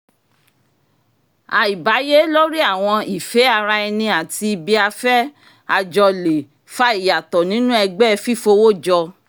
àìbáyé lórí àwọn ìfé ara ẹni àti ibi-afẹ́ ajọ le fa ìyàtọ̀ nínú ẹgbẹ́ fífowó jọ